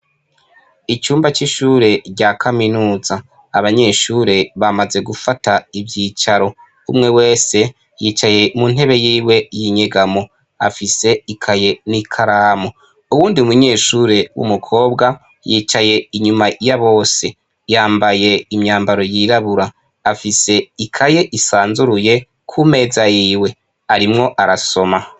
Icumba c'ishure rya kaminuza abanyeshure bamaze gufata ivyicaro umwe wese yicaye mu ntebe yiwe y'inyegamo afise ikaye n'ikaramu, uwundi munyeshure w'umukobwa yicaye inyuma ya bose yambaye imyambaro yirabura afise ikaye isanzuruye ku meza yiwe arimwo arasoma.